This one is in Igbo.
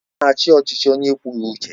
Ọ na-achị ọchịchị onye ekwughị uche ya?